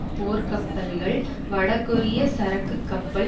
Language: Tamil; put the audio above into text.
போர்க்கப்பல்கள் வடகொரிய சரக்குக்கப்பல்